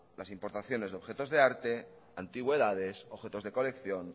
las importaciones de objetos de arte antigüedades objetos de colección